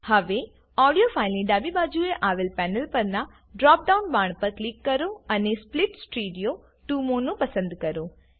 હવે ઓડીયો ફાઈલની ડાબી બાજુએ આવેલ પેનલ પરનાં ડ્રોપ ડાઉન બાણ પર ક્લિક કરો અને સ્પ્લિટ સ્ટીરિયો ટીઓ મોનો પસંદ કરો